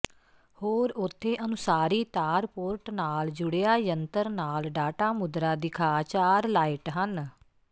ਹੋਰ ਉੱਥੇ ਅਨੁਸਾਰੀ ਤਾਰ ਪੋਰਟ ਨਾਲ ਜੁੜਿਆ ਜੰਤਰ ਨਾਲ ਡਾਟਾ ਮੁਦਰਾ ਦਿਖਾ ਚਾਰ ਲਾਇਟ ਹਨ